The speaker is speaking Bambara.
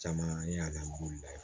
Caman ye